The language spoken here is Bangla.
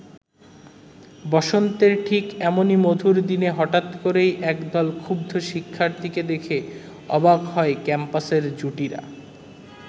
বসন্তের ঠিক এমনি মধুর দিনে হঠাৎ করেই একদল ক্ষুব্ধ শিক্ষার্থীকে দেখে অবাক হয় ক্যাম্পাসের জুটিরা।